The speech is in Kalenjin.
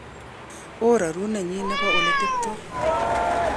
Ororunenyin nebo eletebto kokikobet.